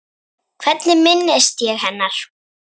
Hvernig minnist ég hennar?